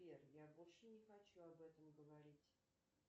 сбер я больше не хочу об этом говорить